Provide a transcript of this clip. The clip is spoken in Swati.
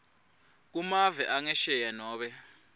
kumave angesheya nobe